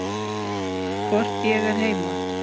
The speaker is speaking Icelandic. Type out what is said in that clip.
Hvort ég er heima?